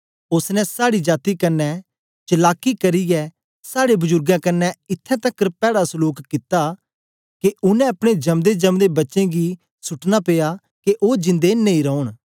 ओसने साड़ी जाती कन्ने चलाकी करियै साड़े बजुर्गें कन्ने इत्थैं तकर पैड़ा सलूक कित्ता के उनै अपने जम्देजम्दे बच्चें गी सुटना पिया के ओ जिंदे नेई रौन